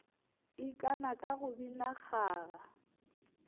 ikana ka go bina kgaga